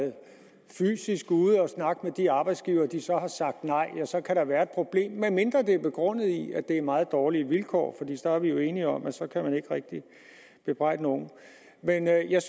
snakke med de arbejdsgivere og de så har sagt nej så kan der være et problem medmindre det er begrundet i at det er meget dårlige vilkår så er vi jo enige om at så kan man ikke rigtig bebrejde nogen men jeg jeg